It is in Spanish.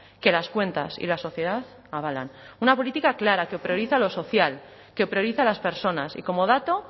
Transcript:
que las cuentas y la sociedad avalan una política clara que prioriza lo social que prioriza a las personas y como dato